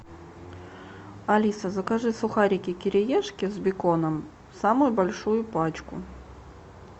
алиса закажи сухарики кириешки с беконом самую большую пачку